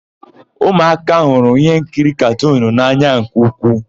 Ụmụaka hụrụ íhénkiri katunu n'anya nke ukwuu.